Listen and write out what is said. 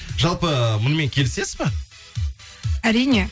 жалпы мұнымен келісесіз ба әрине